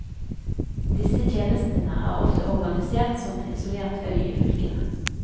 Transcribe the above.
Disse tjenestene er ofte organisert som en isolert øy i fylkene.